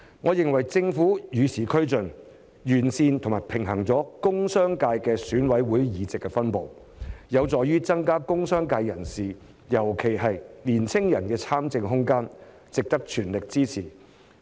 我認為政府與時俱進，完善及平衡了工商界的選委會議席的分布，有助於增加工商界人士——尤其是年輕人——的參政空間，值得全力支持。